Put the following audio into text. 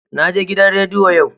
Naje gidan rediyo yau.